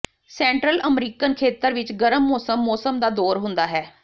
central American ਖੇਤਰ ਵਿਚ ਗਰਮ ਮੌਸਮ ਮੌਸਮ ਦਾ ਦੌਰ ਹੁੰਦਾ ਹੈ